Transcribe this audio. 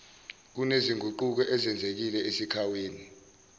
kunezinguquko ezenzekile esakhiweni